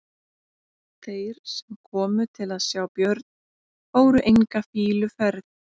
Þeir sem komu til að sjá Björn fóru enga fýluferð.